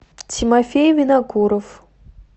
тимофей винокуров